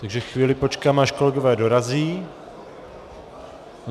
Takže chvíli počkám, až kolegové dorazí.